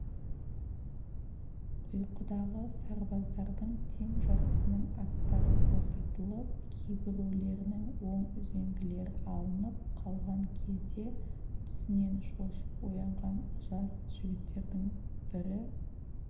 ұйқыдағы сарбаздардың тең жартысының аттары босатылып кейбіреулерінің оң үзеңгілері алынып қалған кезде түсінен шошып оянған жас жігіттердің бірі